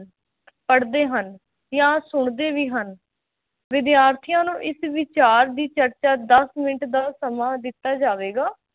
ਪੜ੍ਹਦੇ ਹਨ ਜਾਂ ਸੁਣਦੇ ਵੀ ਹਨ ਵਿਦਿਆਰਥੀਆਂ ਨੂੰ ਇਸ ਵਿਚਾਰ ਦੀ ਚਰਚਾ ਦਸ ਮਿੰਟ ਦਾ ਸਮਾਂ ਦਿੱਤਾ ਜਾਵੇਗਾ